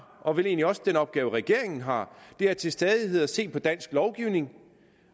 og vel egentlig også den opgave regeringen har er til stadighed at se på dansk lovgivning